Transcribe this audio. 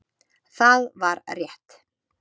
Það var rétt.